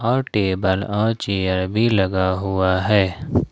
और टेबल और चेयर भी लगा हुआ है।